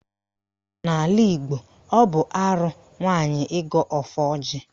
N'ala Igbo, ọ bụ arụ nwaanyị ịgọ ọfọ ọjị